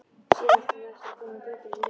Síðar átti það eftir að koma betur í ljós.